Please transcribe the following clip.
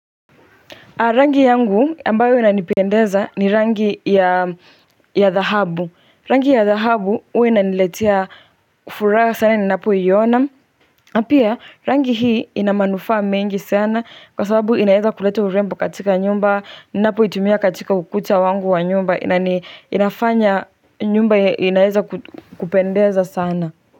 Rangi yangu ambayo inanipendeza ni rangi ya dhahabu. Rangi ya dhahabu huwa inaniletea furaha sana ninapoiona. Na pia rangi hii ina manufaa mengi sana kwa sababu inaeza kuleta urembo katika nyumba. Ninapoitumia katika ukuta wangu wa nyumba. Na inafanya nyumba inaeza kupendeza sana.